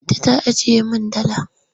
Binta ta ajiye min dala.